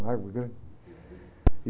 Uma égua grande.